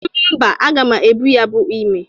Mba, aga m ebu ya bụ ime.